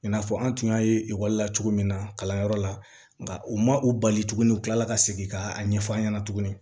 I n'a fɔ an tun y'a ye ekɔli la cogo min na kalanyɔrɔ la nka u ma u bali tuguni u tilala ka segin ka a ɲɛfɔ an ɲɛna tuguni